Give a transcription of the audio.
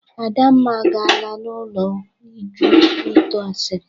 Adamma agaala n'ulo Uju ito asịrị